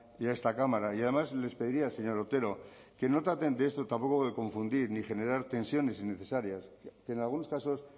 y a esta cámara y además les pediría señor otero que no traten tampoco de confundir ni generar tensiones innecesarias que en algunos casos